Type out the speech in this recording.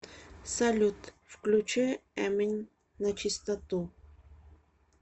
салют включи эмин начистоту